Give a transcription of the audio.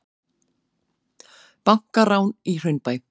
Bankarán í Hraunbæ